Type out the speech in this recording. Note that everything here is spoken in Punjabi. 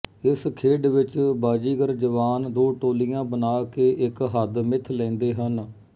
ਇਸ ਖੇਡ ਵਿਚ ਬਾਜ਼ੀਗਰ ਜਵਾਨ ਦੋ ਟੋਲੀਆਂ ਬਣਾ ਕੇ ਇਕ ਹੱਦ ਮਿੱਥ ਲੈਂਦੇ ਹਨ